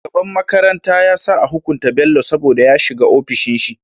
Shugaban makaranta yasa a hukunta bello saboda ya shiga ofishin shi